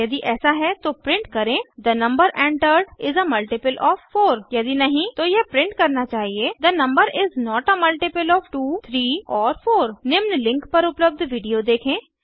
यदि ऐसा है तो प्रिंट करें the number entered is a multiple of 4 यदि नहीं तो यह प्रिंट करना चाहिए the number is not a multiple of 2 3 or 4 निम्न लिंक पर उपलब्ध वीडियो देखें